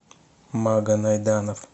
мага найданов